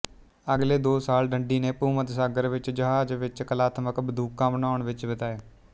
ਅਗਲੇ ਦੋ ਸਾਲ ਡੰਡੀ ਨੇ ਭੂਮੱਧ ਸਾਗਰ ਵਿੱਚ ਜਹਾਜ਼ ਵਿੱਚ ਕਲਾਤਮਕ ਬੰਦੂਕਾਂ ਬਣਾਉਣ ਵਿੱਚ ਬਿਤਾਏ